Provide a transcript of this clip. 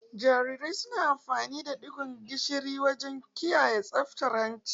Jarirai suna amfana da digon gishiri wajen kiyaye tsaftar hanci.